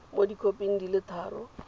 mo dikhoping di le tharo